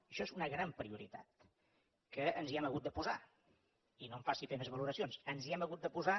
això és una gran prioritat que ens hi hem hagut de posar i no em faci fer més valoracions ens hi hem hagut de posar